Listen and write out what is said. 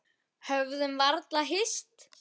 Höfðum varla hist.